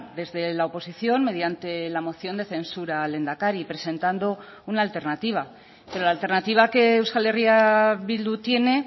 desde la oposición mediante la moción de censura al lehendakari presentando una alternativa pero la alternativa que euskal herria bildu tiene